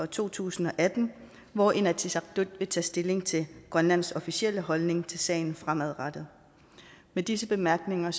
to tusind og atten hvor inatsisartut vil tage stilling til grønlands officielle holdning til sagen fremadrettet med disse bemærkninger